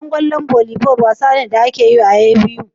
Wasan kwallon volleyball wasa ne da ake yi a nan A.B.U